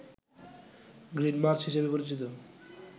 green March হিসাবে পরিচিত